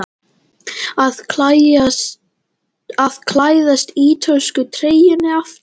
Að klæðast ítölsku treyjunni aftur?